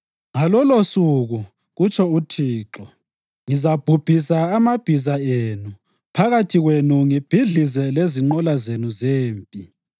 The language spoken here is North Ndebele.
“Ngalolosuku,” kutsho uThixo, “ngizabhubhisa amabhiza enu phakathi kwenu ngibhidlize lezinqola zenu zempi.